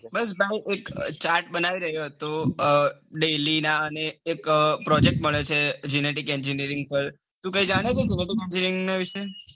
બસ chart બનાવી રહ્યો હતો. daily ના અને એક project મળ્યો છે. genetic engineering પાર કઈ જાણો છો વિશે,